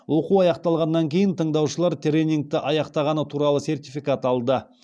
оқу аяқталғаннан кейін тыңдаушылар тренингті аяқтағаны туралы сертификат алды